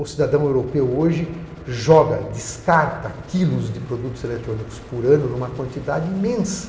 O cidadão europeu hoje joga, descarta quilos de produtos eletrônicos por ano numa quantidade imensa.